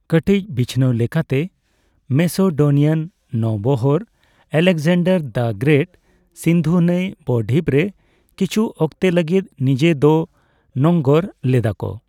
ᱠᱟᱴᱤᱪ ᱵᱤᱪᱷᱱᱟᱹᱣ ᱞᱮᱠᱟᱛᱮ, ᱢᱮᱥᱮᱰᱳᱱᱤᱭᱟᱱ ᱱᱳᱣᱵᱚᱦᱚᱨ (ᱟᱞᱮᱠᱡᱟᱱᱰᱟᱨ ᱫᱟ ᱜᱨᱮᱴ) ᱥᱤᱱᱫᱷᱩ ᱱᱟᱹᱭ ᱵᱼᱰᱷᱤᱯ ᱨᱮ ᱠᱤᱪᱷᱩ ᱚᱠᱛᱮ ᱞᱟᱹᱜᱤᱫ ᱱᱤᱡᱮ ᱫᱚ ᱱᱚᱝᱜᱚᱨ ᱞᱮᱫᱟᱠᱚ ᱾